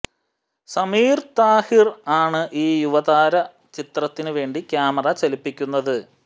സമീര്താഹിര് ആണ് ഈ യുവതാര ചിത്രത്തിന് വേണ്ടി ക്യാമറ ചലിപ്പിക്കുന്നത്